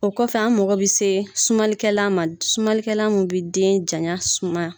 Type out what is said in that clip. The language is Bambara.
O kɔfɛ an mago bɛ se sumanlikɛlan ma sumalikɛlan min bɛ den janya suman.